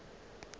le bjalo a napa a